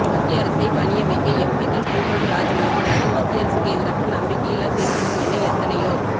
மத்திய அரசை பணிய வைக்க எம்பிகள் கூண்டோடு ராஜினாமா அல்லது மத்திய அரசுக்கு எதிராக நம்பிக்கையில்லா தீர்மானம் என எத்தனையோ